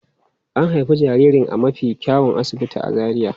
An haifi jaririn a mafi kyawun asibiti a Zaria.